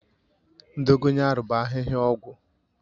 Dogoyaru bụ ahịhịa ọgwụ